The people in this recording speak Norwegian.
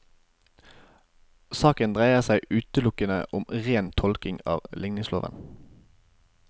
Saken dreier seg utelukkende om ren tolking av ligningsloven.